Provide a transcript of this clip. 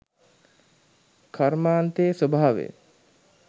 කර්මාන්තයේ ස්වභාවය